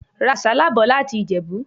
Ra àsálà bò láti Ìjẹ̀bú.